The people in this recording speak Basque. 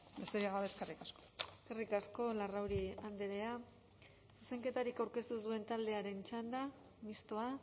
besterik gabe eskerrik asko eskerrik asko larrauri andrea zuzenketarik aurkeztu ez duen taldearen txanda mistoa